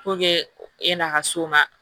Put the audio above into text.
e n'a ka s'o ma